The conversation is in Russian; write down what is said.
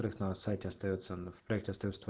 проет то на сайте остаётся в проекте остаются только